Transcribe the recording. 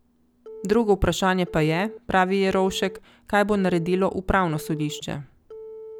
Drugo vprašanje pa je, pravi Jerovšek, kaj bo naredilo upravno sodišče.